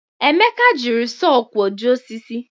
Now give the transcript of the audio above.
Emeka jiri sọọ kwọjie osisi.